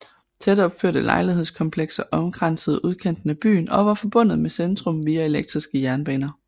Tætopførte lejlighedskomplekser omkransede udkanten af byen og var forbundet med centrum via elektriske jernbaner